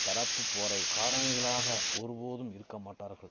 தரப்பு போரை காரணிகளாக ஒரு போதும் இருக்க மாட்டார்கள்